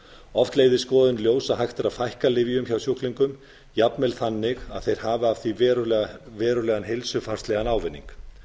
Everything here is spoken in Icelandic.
oft leiðir skoðun í ljós að hægt er að fækka lyfjum hjá sjúklingum jafnvel þannig að þeir hafa af því verulegan heilsufarslegan ávinning